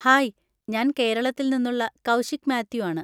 Hi, ഞാൻ കേരളത്തിൽ നിന്നുള്ള കൗശിക് മാത്യു ആണ്.